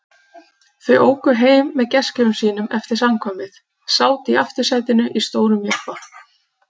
Þau óku heim með gestgjöfum sínum eftir samkvæmið, sátu í aftursætinu í stórum jeppa.